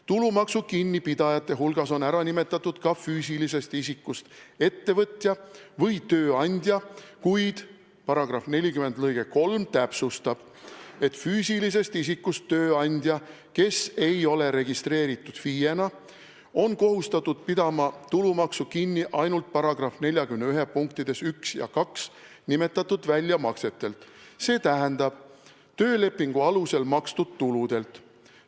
Tulumaksu kinnipidajate hulgas on ära nimetatud ka füüsilisest isikust ettevõtja või tööandja, kuid § 40 lg 3 täpsustab, et füüsilisest isikust tööandja on kohustatud pidama tulumaksu kinni ainult § 41 punktides 1 ja 2 nimetatud väljamaksetelt, see tähendab töölepingu alusel makstud tasudelt.